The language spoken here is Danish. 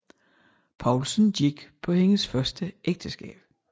Poulsen gik på hendes første ægteskab